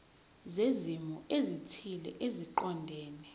zezimo ezithile eziqondene